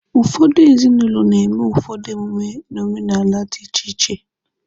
Ụfọdụ ezinụlọ na-eme ụfọdụ emume n'omenala dị iche iche.